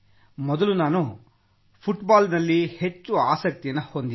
ಮೊದಲು ನಾನು ಫುಟ್ಬಾಲ್ನಲ್ಲಿ ಹೆಚ್ಚು ಆಸಕ್ತಿ ಹೊಂದಿದ್ದೆ